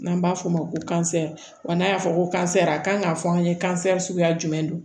N'an b'a fɔ o ma ko n'a y'a fɔ ko a kan k'a fɔ an ye suguya jumɛn don